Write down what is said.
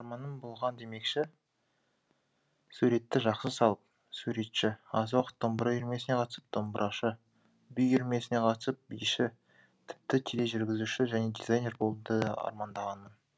арманым болған демекші суретті жақсы салып суретші аз уақыт домбыра үйірмесіне қатысып домбырашы би үйірмесіне қатысып биші тіпті тележүргізуші және дизайнер болуды да армандағанмын